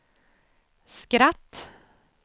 skratt